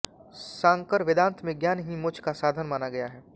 शांकर वेदांत में ज्ञान ही मोक्ष का साधन माना गया है